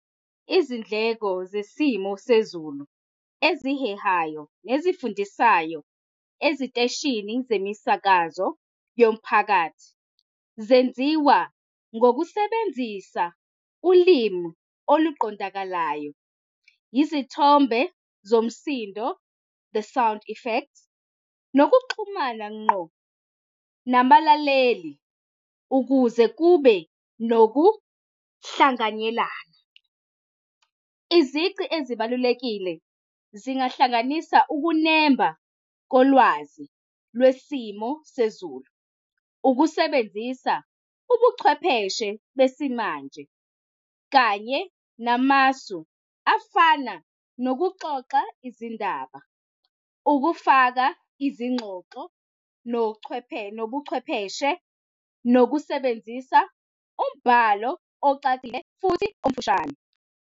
Izindleko zesimo sezulu ezihehayo nezifundisayo eziteshini zemisakazo yomphakathi zenziwa ngokusebenzisa ulimi oluqondakalayo. Izithombe zomsindo, the sound effect nokuxhumana ngqo nabalaleli ukuze kube nokuhlanganyelana. Izici ezibalulekile, zingahlanganisa ukunemba kolwazi lwesimo sezulu. Ukusebenzisa ubuchwepheshe besimanje kanye namasu afana nokuxoxa izindaba, ukufaka izingxoxo nochwepheshe, nobuchwepheshe, nokusebenzisa umbhalo ocacile futhi omfushane.